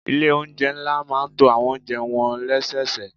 Ilé oúnjẹ ńlá máa ń to àwọn oúnjẹ wọn lẹ́sẹẹsẹ.